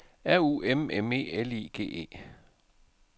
R U M M E L I G E